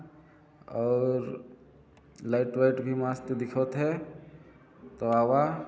और लाईट वाईट भी मस्त दिखात हे त आवा--